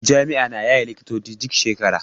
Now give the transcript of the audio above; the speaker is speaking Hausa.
Jami'a na yaye likitoci duk shekara.